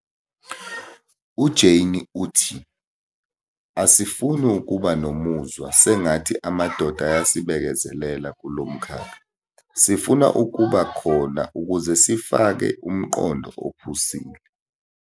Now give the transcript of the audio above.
UJane uthi- 'asifuni ukuba nomuzwa sengathi amadoda ayasibekezelela kulo mkhakha, sifuna ukuba khona ukuze sifake umqondo ophusile'.